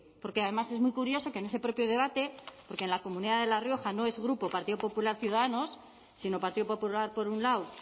porque además es muy curioso que en ese propio debate porque en la comunidad de la rioja no es grupo partido popular ciudadanos sino partido popular por un lado